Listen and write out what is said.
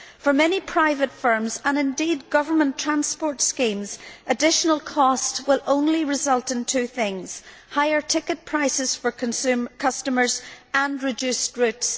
For many private firms, and indeed government transport schemes, additional cost will only result in two things higher ticket prices for customers and reduced routes.